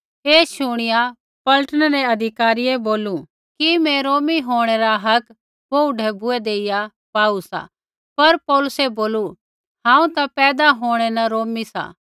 ऐ शुणिया पलटनै रै अधिकारियै बोलू कि मैं रोमी होंणै रा हक बोहू ढैबुऐ देइया पाऊ सा पर पौलुसै बोलू हांऊँ ता पैदा होंणै न रोमी सा